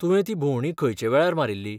तुवें ती भोंवडी खंयचे वेळार मारील्ली?